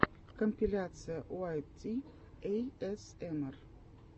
компиляция уайт ти эйэсэмар